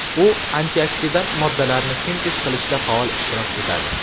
U antioksidant moddalarni sintez qilishda faol ishtirok etadi.